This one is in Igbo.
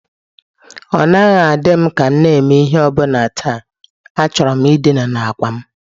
Ọ naghị adị m ka m na-eme ihe ọ bụla taa, achọrọ m dina n'àkwà m.